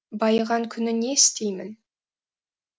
байыған күні не істеймін